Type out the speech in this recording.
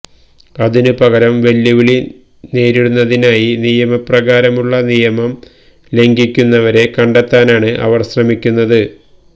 അതിനുപകരം വെല്ലുവിളി നേരിടുന്നതിനായി നിയമപ്രകാരമുള്ള നിയമം ലംഘിക്കുന്നവരെ കണ്ടെത്താനാണ് അവർ ശ്രമിക്കുന്നത്